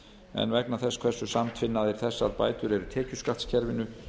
en vegna þess hversu samtvinnaðar þessar bætur eru tekjuskattskerfinu